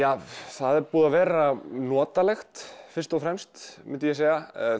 það er búið að vera notalegt fyrst og fremst myndi ég segja